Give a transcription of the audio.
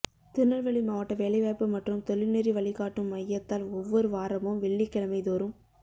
திருநெல்வேலி மாவட்ட வேலைவாய்ப்பு மற்றும் தொழில்நெறி வழிகாட்டும் மையத்தால் ஒவ்வொரு வாரமும் வெள்ளிக்கிழமைதோறும்